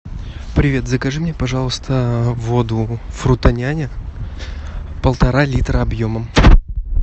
привет закажи мне пожалуйста воду фрутоняня полтора литра объемом